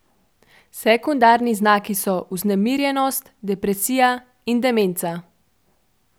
Sekundarni znaki so vznemirjenost, depresija in demenca.